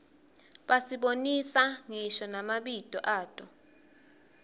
basibonisa ngisho namabito ato